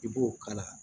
I b'o kala